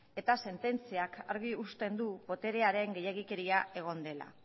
eta sententziak argi uzten du boterearen gehiegikeria egon dela